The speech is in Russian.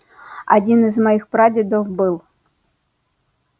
один из моих прапрадедов был